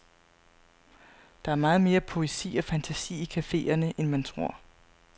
Der er meget mere poesi og fantasi i caféerne, end man tror.